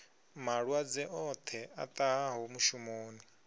malwadze oṱhe a ṱahaho mushumoni